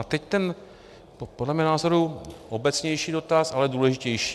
A teď ten podle mého názoru obecnější dotaz, ale důležitější.